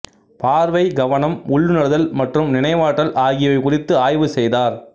பார்வை கவனம் உள்ளுணர்தல் மற்றும் நினைவாற்றல் ஆகியவை குறித்து ஆய்வு செய்தார்